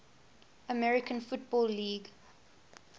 american football league